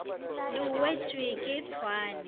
le o wetšwe ke tšhwaane